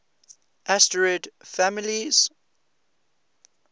asterid families